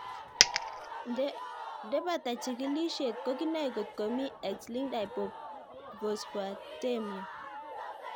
Nde pata chig'ilishet ko kinae kotko mii X linked hypophosphatemia